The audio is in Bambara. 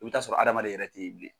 I bɛ t'a sɔrɔ hadamaden yɛrɛ tɛ ye bilen.